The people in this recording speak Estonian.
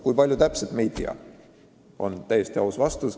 Kui palju täpselt, me ei tea, on täiesti aus vastus.